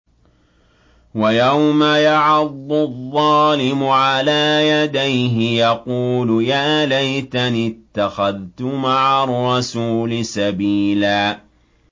وَيَوْمَ يَعَضُّ الظَّالِمُ عَلَىٰ يَدَيْهِ يَقُولُ يَا لَيْتَنِي اتَّخَذْتُ مَعَ الرَّسُولِ سَبِيلًا